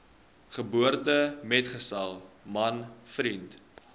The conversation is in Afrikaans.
geboortemetgesel man vriend